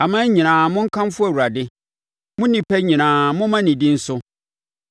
Aman nyinaa, monkamfo Awurade; mo nnipa nyinaa, momma ne din so.